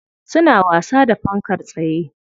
Suna wasa da fankar tsaye.